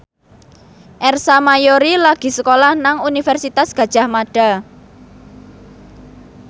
Ersa Mayori lagi sekolah nang Universitas Gadjah Mada